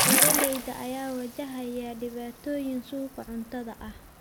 Beeralayda ayaa wajahaya dhibaatooyin suuqa cuntada ah.